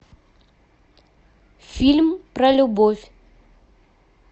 фильм про любовь